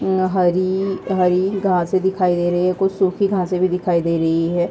यहां हरी हरी घासें दिखाई दे रही है कुछ सूखी घासें भी दिखाई दे रही हैं।